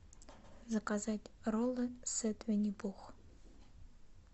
заказать роллы сет винни пух